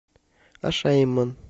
ашаиман